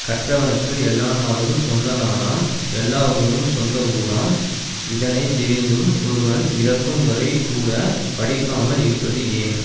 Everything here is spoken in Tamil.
கற்றவனுக்கு எல்லா நாடும் சொந்த நாடாம் எல்லா ஊரும் சொந்த ஊராம் இதனை தெரிந்தும் ஒருவன் இறக்கும் வரை கூட படிக்காமல் இருப்பது ஏன்